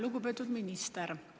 Lugupeetud minister!